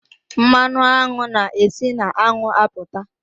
Mmanụ aṅụ na e si na aṅụ apụta.